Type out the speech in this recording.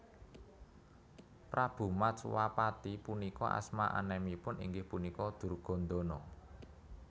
Prabu Matswapati punika asma enemipun inggih punika Durgandana